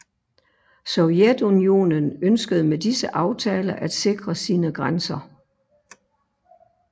Sovjetunionen ønskede med disse aftaler at sikre sine grænser